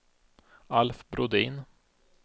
Alf Brodin